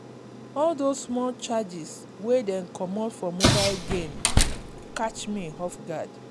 all those small charges wey dey comot for mobile game catch me off guard.